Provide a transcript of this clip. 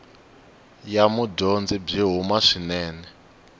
ya mudyondzi byi huma swinene